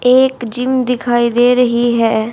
एक जिम दिखाई दे रही है।